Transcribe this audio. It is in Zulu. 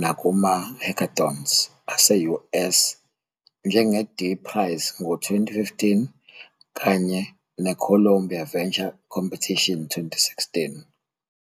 nakuma- hackathons aseUS, njenge-D-Prize ngo-2015 kanye ne-Columbia Venture Competition 2016.